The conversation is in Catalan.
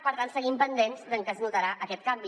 per tant seguim pendents de en què es notarà aquest canvi